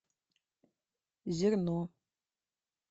зерно